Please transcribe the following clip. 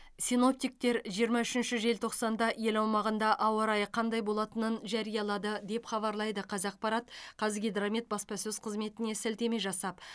синоптиктер жиырма үшінші желтоқсанда ел аумағында ауа райы қандай болатынын жариялады деп хабарлайды қазақпарат қазгидромет баспасөз қызметіне сілтеме жасап